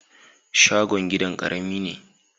Shogon gidan ƙarami ne.